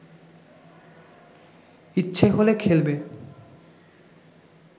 ইচ্ছে হলে খেলবে